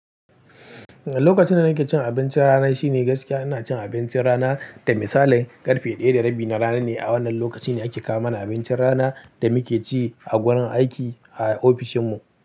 Lokacin da nake cin abincin rana shine gaskiya ina cin abincin rana. Da misali, karfe ɗaya da rabi na rana ne a wannan lokaci ne ake kawo mana abincin rana da muke ci a wurin aiki a ofishinmu.